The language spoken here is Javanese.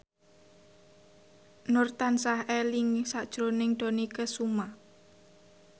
Nur tansah eling sakjroning Dony Kesuma